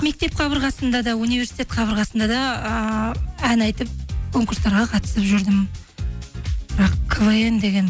мектеп қабырғасында да университет қабырғасында да ыыы ән айтып конкурстарға қатысып жүрдім бірақ квн деген